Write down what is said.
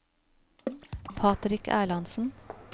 Patrick Erlandsen